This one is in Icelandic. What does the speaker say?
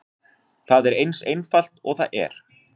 Það er eins einfalt og það er.